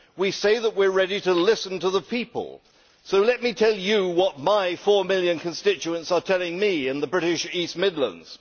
We say that we are ready to listen to the people, so let me tell you what my four million constituents are telling me in the British East Midlands.